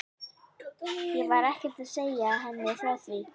Ég var ekkert að segja henni frá því.